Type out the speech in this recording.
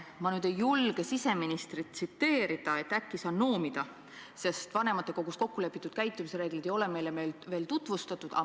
Ma nüüd ei julge siseministrit tsiteerida, äkki saan noomida, sest vanematekogus kokkulepitud käitumisreegleid ei ole meile veel tutvustatud.